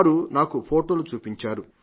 వారు నాకు ఫోటోలు చూపించారు